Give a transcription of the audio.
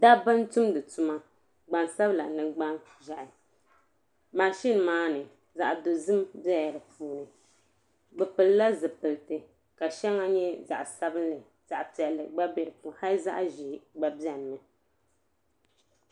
Dabba n tumdi tuma gbansabla mini gbanʒehi maʒina maa ni zaɣa dozim bela di puuni bɛ pilila zipilti ka sheŋa nyɛ zaɣa sabinli zaɣa piɛli gna be di puuni hali zaɣa ʒee gba biɛni.